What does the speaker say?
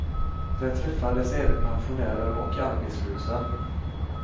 Där träffades även pensionärer och arbetslösa.